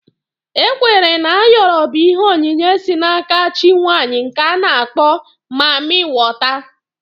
E kweere na Ayoro bụ ihe onyinye si n'aka chi nwaanyị nke a na-akpọ mammị wọta